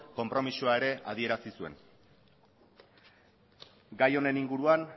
konpromezua ere adierazi zuen gai honen inguruan